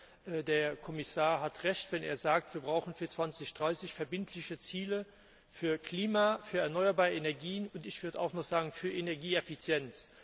Erstens Der Kommissar hat Recht, wenn er sagt, wir brauchen für 2030 verbindliche Ziele für das Klima, für erneuerbare Energien, ich würde auch noch sagen für Energieeffizienz.